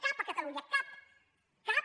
cap a catalunya cap cap